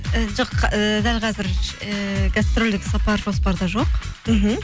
і жоқ ііі дәл қазір ііі гастрольдік сапар жоспарда жоқ мхм